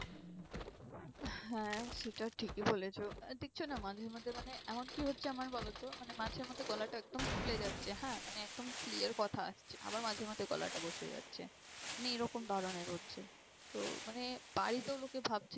হ্যাঁ সেটা ঠিকই বলেছো। আহ দেখছো না মাঝে মাঝে মানে এমন কি হচ্ছে আমার বলো তো মানে মাঝে-মধ্যে গলাটা একদম খুলে যাচ্ছে। হ্যাঁ, মানে একদম clear কথা আসছে। আবার মাঝে মাঝে গলাটা বসে যাচ্ছে। মানে এরকম ধরনের হচ্ছে। তো মানে বাড়িতেও লোকে ভাবছে,